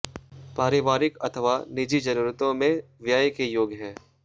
पारिवारिक अथवा नीजी जरुरतों में व्यय के योग है